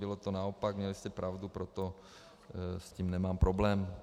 Bylo to naopak, měli jste pravdu, proto s tím nemám problém.